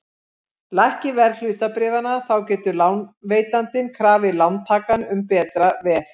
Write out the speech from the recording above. Lækki verð hlutabréfanna þá getur lánveitandinn krafið lántakann um betra veð.